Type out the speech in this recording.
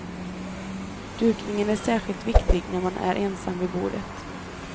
Dukningen är särskilt viktig när man är ensam vid bordet.